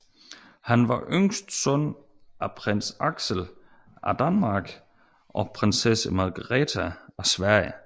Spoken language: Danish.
Han var yngste søn af Prins Axel af Danmark og Prinsesse Margaretha af Sverige